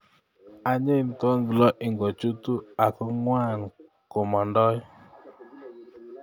Anyiny toklo ing'ochutu ing'ongwan komondoi